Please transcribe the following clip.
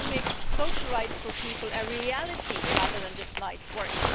How do we make social rights for people a reality rather than just nice words?